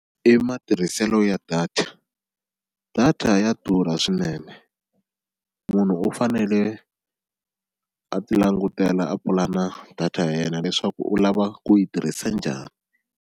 I matirhiselo ya data data ya durha swinene munhu u fanele a ti langutela a pulana data ya yena leswaku u lava ku yi tirhisa njhani.